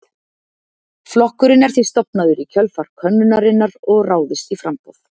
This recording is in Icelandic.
Flokkurinn er því stofnaður í kjölfar könnunarinnar og ráðist í framboð.